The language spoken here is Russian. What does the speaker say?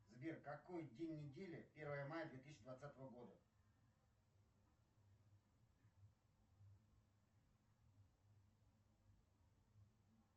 сбер какой день недели первое мая две тысячи двадцатого года